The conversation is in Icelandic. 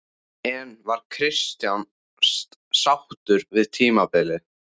En var Kristján sáttur við tímabilið?